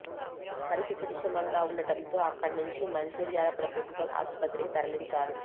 పరిస్థితి విషమంగా ఉండటంతో అక్కడ నుంచి మంచిర్యాల ప్రభుత్వ ఆసుపత్రికి తరలి ంచారు